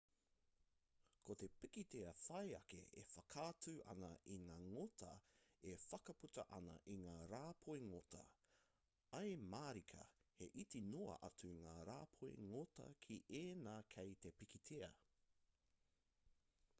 ko te pikitia whai ake e whakaatu ana i ngā ngota e whakaputa ana i ngā rāpoi ngota ae mārika he iti noa atu ngā rāpoi ngota ki ēnā kei te pikitia